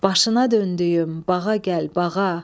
Başına döndüyüm, bağa gəl bağa.